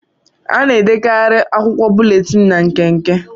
A na-edekarị akwụkwọ búlétin ná nkenke